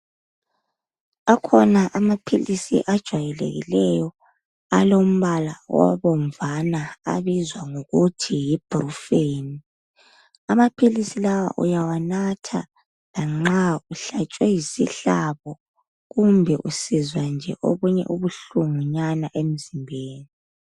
Akhona amaphilisi ajwayelekileyo alombala obomvana abizwa ngokuthi yi brufeni. Amaphilisi lawa uyawanatha lanxa uhlatshwe yisihlabo kumbe usizwa nje okunye ubuhlungu nyana emzimbeni.